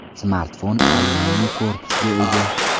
Smartfon alyuminiy korpusga ega.